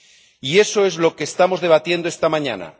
Y eso es lo que estamos debatiendo esta mañana.